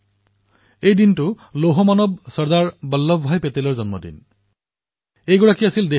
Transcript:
এই দিনটোতে ভাৰতৰ ঐক্যতাৰ মহানায়ক লৌহ পুৰুষ চৰ্দাৰ বল্লভভাই পেটেলৰ জন্মজয়ন্তী হিচাপে পালন কৰা হয়